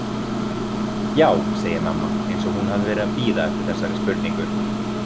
Já, segir mamma eins og hún hafi verið að bíða eftir þessari spurningu.